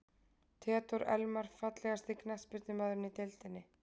Theodór Elmar Fallegasti knattspyrnumaðurinn í deildinni?